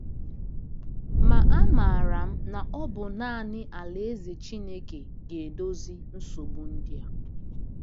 Ma amaara m na ọ bụ naanị Alaeze Chineke ga-edozi nsogbu ndị a.